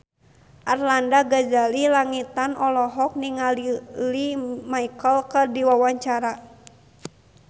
Arlanda Ghazali Langitan olohok ningali Lea Michele keur diwawancara